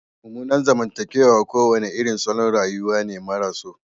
Mummunan zamantakewa kowane irin salon rayuwa ne maras so